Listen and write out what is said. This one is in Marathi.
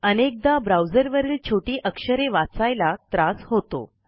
अनेकदा ब्राऊजरवरील छोटी अक्षरे वाचायला त्रास होतो